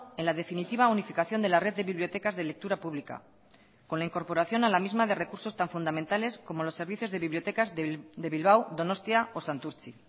en la definitiva unificación de la red de bibliotecas de lectura pública con la incorporación a la misma de recursos tan fundamentales como los servicios de bibliotecas de bilbao donostia o santurtzi